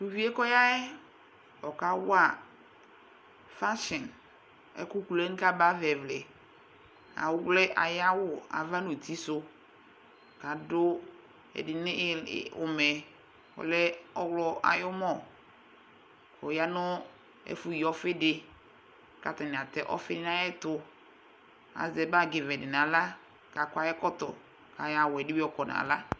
tʋʋvie kɔyaɛ ɔkawa fansion ɛkʋkʋlʋyɛ kaba ayava ɛvlaɛ awlɛ ayawʋ ava nʋ ʋtisu adʋ ɛdinii ʋmɛ ɔwlɔ ayʋɔmɔ ɔyanʋ ɛfʋyii ɔfiidi katani atɛ ɔfi nu ayɛtʋ azɛ bagi vɛ dinawla kakɔ ayɛ kɔtɔ kayɔ awʋɛ ɛdibi yɔkɔ nala